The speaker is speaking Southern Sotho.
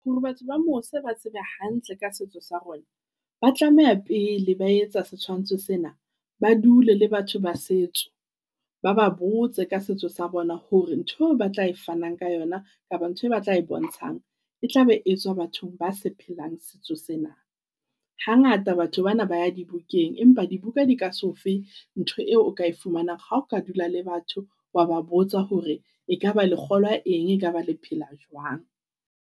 Hore batho ba mose ba tsebe hantle ka setso sa rona, ba tlameha pele ba etsa setshwantsho sena, ba dule le batho ba setso, ba ba botse ka setso sa bona. Hore ntho eo ba tla e fanang ka yona kapa ntho e batla e bontshang, e tla be etswa bathong ba se phelang setso sena. Hangata batho bana ba ya di bukeng, empa dibuka di ka so fe ntho eo o ka e fumanang ha o ka dula le batho ba ba botsa hore e ka ba lekgolo a eng. E kaba le phela jwang.